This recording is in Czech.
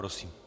Prosím.